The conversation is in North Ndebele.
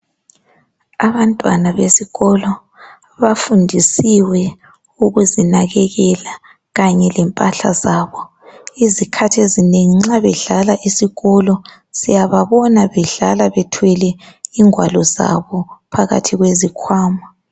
Abantwana besikolo bafundisiwe ukuzinakekela kanye lempahla zabo. Izikhathi ezinengi nxa bedlala esikolo siyababona bedlala bethwele ingwalo zabo phakathi kwezikhwama.